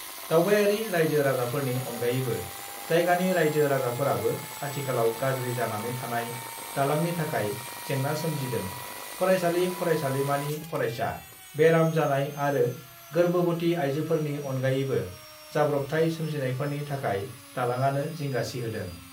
दावबायारि राइजो-राजाफोरनि अनगायैबो जायगानि राइजो-राजाफोराबो आथिखालाव गाज्रि जानानै थानाय दालांनि थाखाय जेंना सोमजिदों फरायसालि-फरायसालिमानि फरायसा, बेराम जानाय आरो गोर्बोबती आइजोफोरनि अनगायैबो जाब्रबथाय सोमजिनायफोरनि थाखाय दालांआनो जिंगासिहोदों।